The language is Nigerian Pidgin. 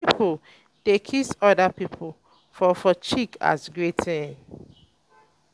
um some pipo um dey kiss oda pipo for for cheek as greeting